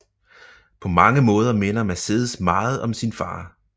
På mange måder minder Mercedes meget om sin far